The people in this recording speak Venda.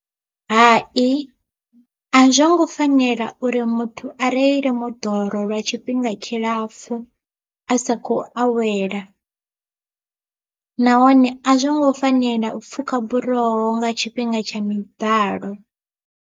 Hai a zwo ngo fanela uri muthu a reile moḓoro lwa tshifhinga tshilapfu a sa kho awela, nahone a zwo ngo fanela u pfhuka buroho nga tshifhinga tsha miḓalo.